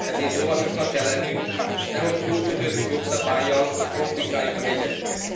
Ezért óvatosnak kell lennünk, nehogy túl kötött jogszabállyal komplikáljuk a helyzetüket.